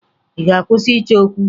Ị ga-akwụsị ịchọ okwu?